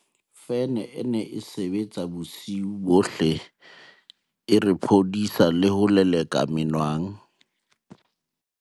fene e ne e sebetsa bosiu bohle e re phodisa le ho leleka menwang